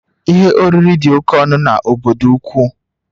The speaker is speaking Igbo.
Ihe oriri dị oke ọnụ n'obodo ukwu